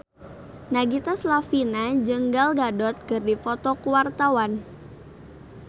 Nagita Slavina jeung Gal Gadot keur dipoto ku wartawan